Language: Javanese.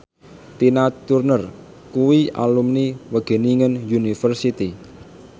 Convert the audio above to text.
Tina Turner kuwi alumni Wageningen University